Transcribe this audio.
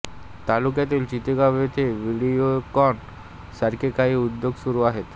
तालुक्यातील चितेगाव येथे विडिओकॉन सारखे काही उद्योग सुरू आहेत